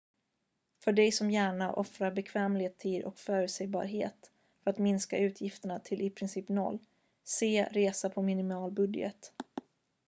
"för dig som gärna offrar bekvämlighet tid och förutsägbarhet för att minska utgifterna till i princip noll se "resa på minimal budget"".